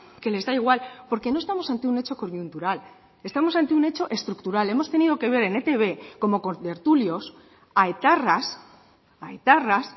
que les da igual porque no estamos ante un hecho coyuntural estamos ante un hecho estructural hemos tenido que ver en etb como contertulios a etarras a etarras